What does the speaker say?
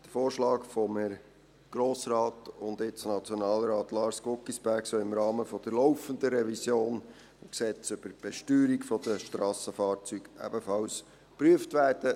Der Vorschlag von Herrn Grossrat und jetzt Nationalrat Lars Guggisberg soll im Rahmen der laufenden Revision des Gesetzes über die Besteuerung der Strassenfahrzeuge ebenfalls geprüft werden.